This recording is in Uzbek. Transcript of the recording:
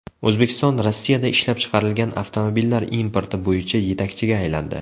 O‘zbekiston Rossiyada ishlab chiqarilgan avtomobillar importi bo‘yicha yetakchiga aylandi .